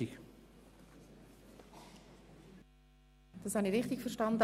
Habe ich das richtig verstanden?